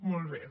molt bé